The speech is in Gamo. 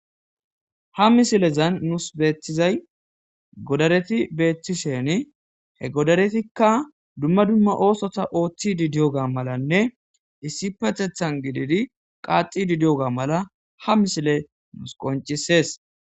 ha misilezan nuus beettizay godareti beethishen he godaretikka dumma dumma oosota ooththi di diyoga malanne issi patethan gididi qaaxi didiyoga mala ha misile nus qoncisees